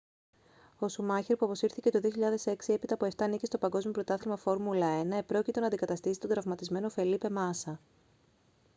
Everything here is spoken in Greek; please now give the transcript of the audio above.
ο σουμάχερ που αποσύρθηκε το 2006 έπειτα από 7 νίκες στο παγκόσμιο πρωτάθλημα φόρμουλα 1 επρόκειτο να αντικαταστήσει τον τραυματισμένο φελίπε μάσα